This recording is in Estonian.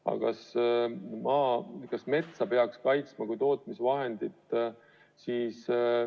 Aga kas metsa peaks kaitsma kui tootmisvahendit?